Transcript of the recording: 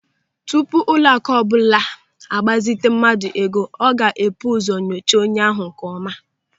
Tupu ụlọaku ọbụla a gbazite mmadụ ego, ọ ga-ebu ụzọ nyochaa onye ahụ nkeọma.